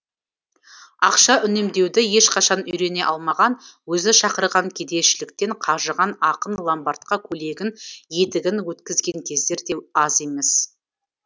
ақша үнемдеуді ешқашан үйрене алмаған өзі шақырған кедейшіліктен қажыған ақын ломбардқа көйлегін етігін өткізген кездер де аз емес